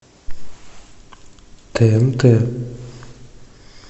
тнт